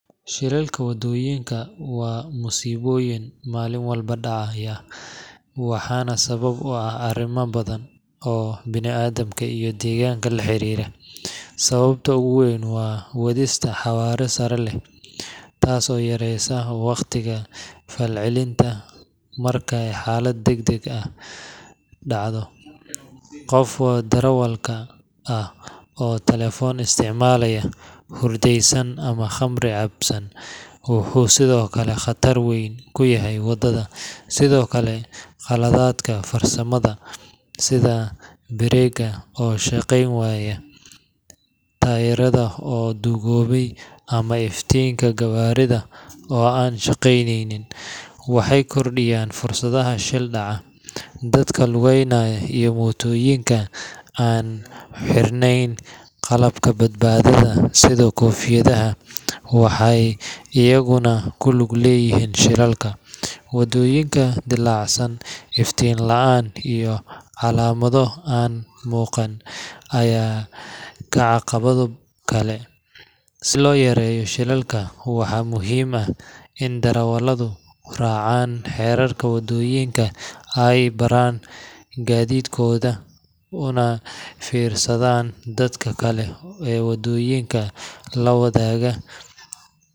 Shilalka waddooyinka waa masiibooyin maalin walba dhacaya, waxaana sabab u ah arrimo badan oo bini’aadamka iyo deegaanka la xiriira. Sababta ugu weyn waa wadista xawaare sare leh, taas oo yareysa waqtiga falcelinta markay xaalad degdeg ahi dhacdo. Qofka darawalka ah oo telefoon isticmaalaya, hurdaysan, ama khamri cabsan wuxuu sidoo kale khatar weyn ku yahay wadada. Sidoo kale, qaladaadka farsamada sida biriigga oo shaqayn waaya, taayirada oo duugoobay, ama iftiinka gawaarida oo aan shaqaynin, waxay kordhiyaan fursadda shil dhaca. Dadka lugeynaya iyo mootooyinka aan xirneyn qalabka badbaadada sida koofiyadaha waxay iyaguna ku lug leeyihiin shilalka. Waddooyin dilaacsan, iftiin la’aan, iyo calaamado aan muuqan ayaa ah caqabado kale. Si loo yareeyo shilalka, waxaa muhiim ah in darawalladu raacaan xeerarka waddooyinka, ay baaraan gaadiidkooda, una fiirsadaan dadka kale ee waddooyinka la wadaagaya.